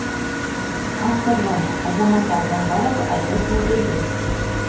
авторлары азамат алдоңғаров айдос меделбеков